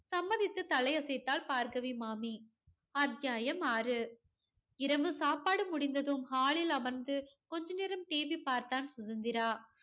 சம்மதித்து தலையசைத்தாள் பார்கவி மாமி. அத்தியாயம் ஆறு. இரவு சாப்பாடு முடிந்ததும் hall ல் அமர்ந்து கொஞ்ச நேரம் TV பார்த்தான் சுதந்திரா.